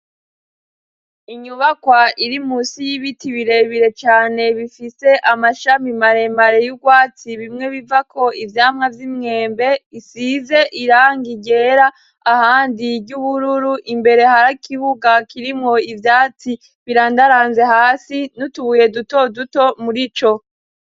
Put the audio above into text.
Inyubakwa iri musi y'ibiti birebire cane bifite amashami maremare y'urwatsi, bimwe bivako ivyamwa vy'imwembe isize irangigera ahandi y'ubururu imbere harakibuga kirimwo ivyatsi birandaranze hasi n'utubuye duto duto murico.